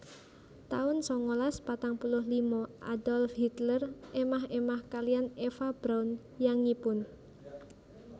taun sangalas patang puluh lima Adolf Hitler émah émah kaliyan Eva Braun yangipun